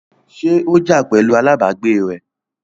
ṣé ó jà pẹ̀lu alábàágbé rẹ̀?